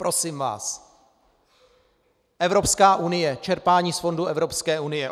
Prosím vás - Evropská unie, čerpání z fondů Evropské unie.